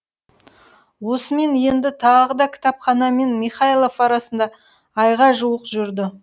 осымен енді тағы да кітапхана мен михайлов арасында айға жуық жүрді